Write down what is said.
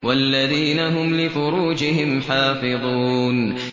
وَالَّذِينَ هُمْ لِفُرُوجِهِمْ حَافِظُونَ